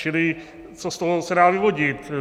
Čili co z toho se dá vyvodit?